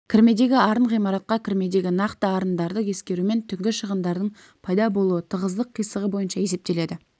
кірмедегі арын ғимаратқа кірмедегі нақты арындарды ескерумен түнгі шығындардың пайда болуы тығыздық қисығы бойынша есептеледі